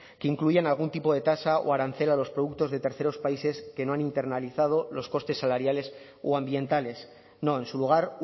que incluyen algún tipo de tasa o arancel a los productos de terceros países que no han internalizado los costes salariales o ambientales no en su lugar